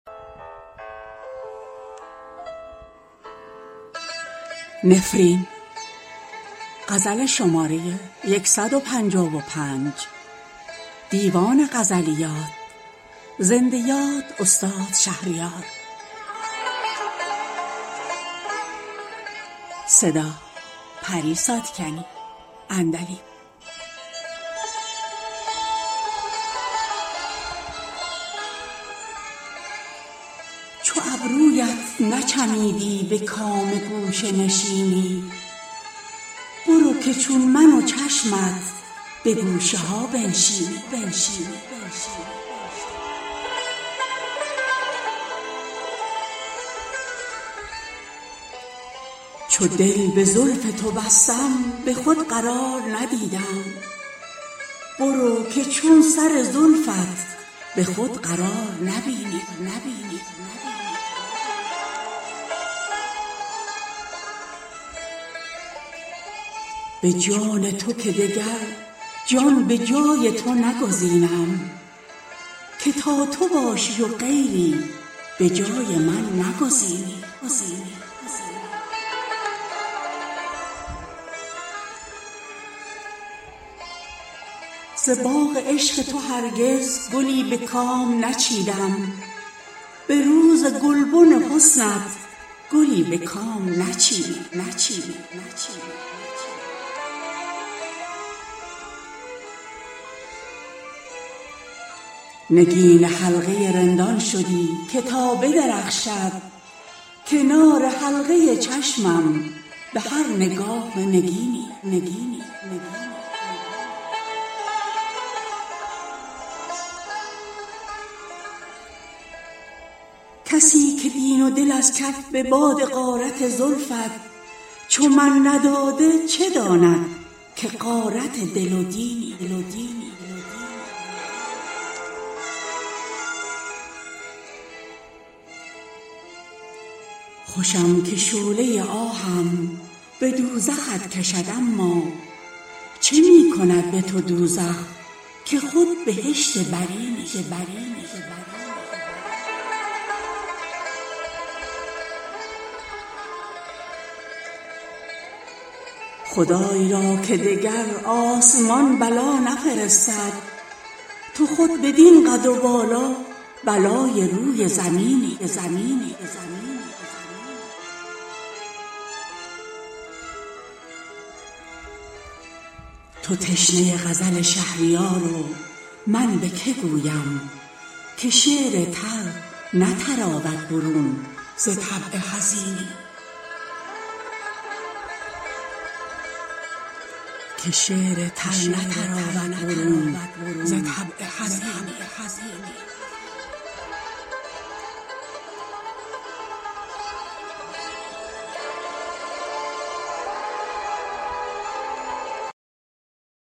چو ابرویت نچمیدی به کام گوشه نشینی برو که چون من و چشمت به گوشه ها بنشینی چو دل به زلف تو بستم به خود قرار ندیدم برو که چون سر زلفت به خود قرار نبینی به جان تو که دگر جان به جای تو نگزینم که تا تو باشی و غیری به جای من نگزینی ز باغ عشق تو هرگز گلی به کام نچیدم به روز گلبن حسنت گلی به کام نچینی نگین حلقه رندان شدی که تا بدرخشد کنار حلقه چشمم به هر نگاه نگینی کسی که دین و دل از کف به باد غارت زلفت چو من نداده چه داند که غارت دل و دینی خوشم که شعله آهم به دوزخت کشد اما چه می کند به تو دوزخ که خود بهشت برینی توان به دوزخت افکندن و به خلد چمیدن گرم حسد بگذارد که باز با که قرینی خدای را که دگر آسمان بلا نفرستد تو خود بدین قد و بالا بلای روی زمینی خمیده ام چو کمان تا ز تیر آه کمین گیر به رستمی بستانم ز ترک چشم تو کینی تو تشنه غزل شهریار و من به که گویم که شعر تر نتراود برون ز طبع حزینی